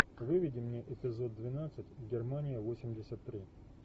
выведи мне эпизод двенадцать германия восемьдесят три